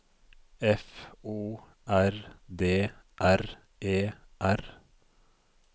F O R D R E R